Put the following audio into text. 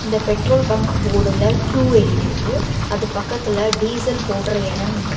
அந்த petrol bunk போடுல டூ எழுதிருக்கு அது பக்கத்துல டீசல் போடுற இடம் இருக்கு.